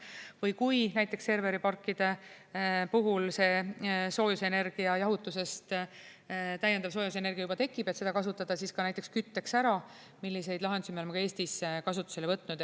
Või kui näiteks serveriparkide puhul see täiendav soojusenergia jahutusest juba tekib, siis kasutada see ka näiteks kütteks ära, selliseid lahendusi me oleme ka Eestis kasutusele võtnud.